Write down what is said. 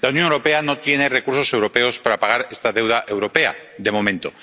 La Unión Europea no tiene recursos europeos para pagar esta deuda europea, de momento.